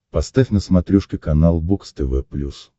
поставь на смотрешке канал бокс тв плюс